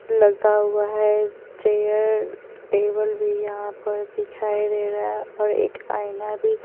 लगा हुआ है चेयर टेबल भी यहां पर दिखाई दे रहा है और एक आईना भी --